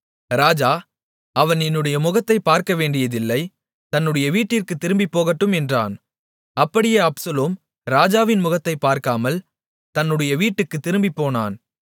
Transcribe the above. ராஜா அவன் என்னுடைய முகத்தைப் பார்க்கவேண்டியதில்லை தன்னுடைய வீட்டிற்குத் திரும்பிப் போகட்டும் என்றான் அப்படியே அப்சலோம் ராஜாவின் முகத்தைப் பார்க்காமல் தன்னுடைய வீட்டுக்குத் திரும்பிப்போனான்